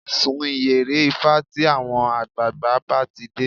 Sun ìyẹ̀rẹ̀ ifá tí àwọn àgbààgbà bá ti dé